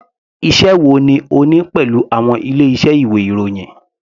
Iṣẹ́ wo ni o ní pẹ̀lú àwọn ilé iṣẹ́ ìwé ìròyìn.